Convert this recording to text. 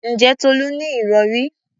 Ǹjẹ́ Tolú ní ìrọ̀rí?